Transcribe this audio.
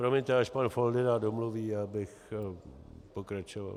Promiňte, až pan Foldyna domluví, já bych pokračoval.